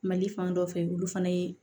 Mali fan dɔ fɛ olu fana ye